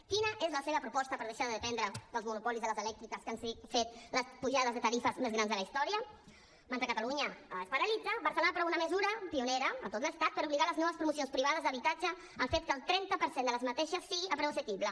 quina és la seva proposta per deixar de dependre dels monopolis de les elèctriques que han fet les pujades de tarifes més grans de la història mentre catalunya es paralitza barcelona aprova una mesura pionera a tot l’estat per obligar les noves promocions privades d’habitatge al fet que el trenta per cent d’aquestes siguin a preu assequible